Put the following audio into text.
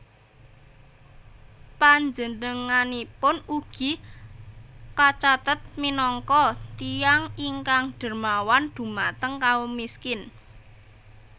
Panjenenganipun ugi kacathet minangka tiyang ingkang dermawan dhumateng kaum miskin